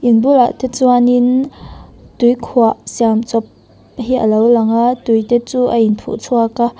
te chuan in tuikhuah siam chawp hi alo lang a tui te chu a in phuh chhuak a--